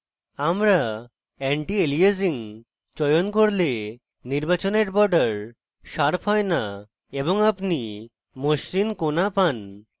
আমরা antialiasing চয়ন করলে নির্বাচনের border sharp হয় না এবং আপনি মসৃন কোণা পান